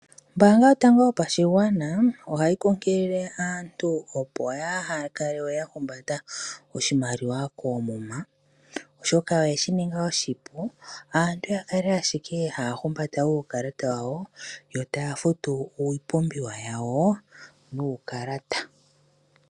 Ombanga yotango yopashigwana ohayi kunkilile aantu opo ya haka lewe yahumbanda iimaliwa koomuma , oshoka oye shininga oshipu yakale ashike hahumbata uukalata wawo yo taya futu iipumbiwa yawo nuukalata.